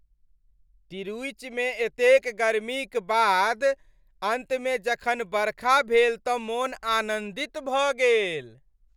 तिरूचिमे एतेक गर्मीक बाद अन्तमे जखन बरखा भेल तँ मोन आनन्दित भऽ गेल।